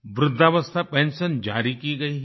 वृद्धावस्था पेंशन जारी की गई है